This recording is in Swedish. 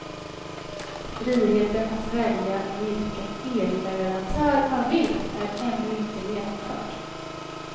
Friheten att välja vilken elleverantör man vill är ännu inte genomförd.